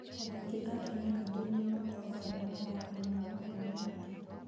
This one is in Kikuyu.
Athaki a Kenya kaingĩ nĩo matongoragia mathako-inĩ ma mabũrũri mangĩ.